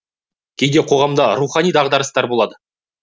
кейде қоғамда рухани дағдарыстар болады